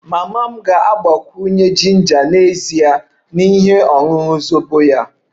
Mama m ga-agbakwunye jinja n'ezie na ihe ọṅụṅụ zobo ya